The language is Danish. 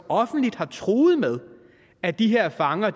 offentligt har truet med at de her fanger